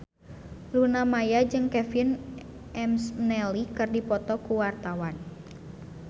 Luna Maya jeung Kevin McNally keur dipoto ku wartawan